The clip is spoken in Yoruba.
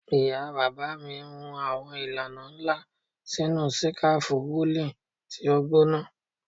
Ìyá bàbá mi hun àwọn ìlànà nla sinu sikafu woolen ti o gbona